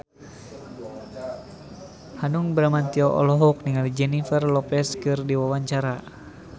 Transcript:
Hanung Bramantyo olohok ningali Jennifer Lopez keur diwawancara